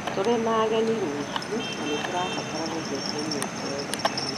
Tũrĩ na ageni rũciũ, na nĩ tũrabatara gũtheria nyũmba yothe tene